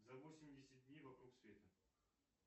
за восемьдесят дней вокруг света